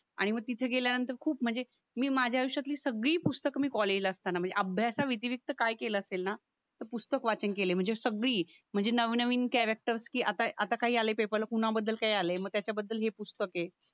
आणि मग तिथे गेल्यानंतर खूप म्हणजे मी माझ्या आयुष्याची सगळी पुस्तकं मी कॉलेजला असताना म्हणजे अभ्यासा व्यतिरिक्त काय केलं असेल ना तर पुस्तक वाचन केले म्हणजे सगळी म्हणजे नवनवीन कॅरेक्टर ची आता आता काही आले पेपरला कुणाबद्दल काय आलय म त्याच्या बद्दल हे पुस्तक हे